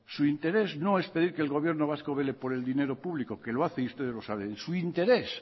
su interés no es pedir que el gobierno vasco vele por el dinero público que lo hace y ustedes lo saben su interés